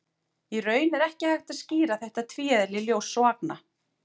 Í raun er ekki hægt að skýra þetta tvíeðli ljóss og agna.